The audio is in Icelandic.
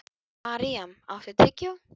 Maríam, áttu tyggjó?